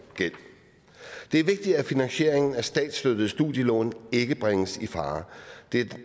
er vigtigt at finansieringen af statsstøttede studielån ikke bringes i fare det